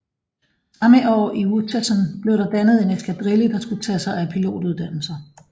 Samme år i Uetersen blev der dannet en eskadrille der skulle tage sig af pilotuddannelser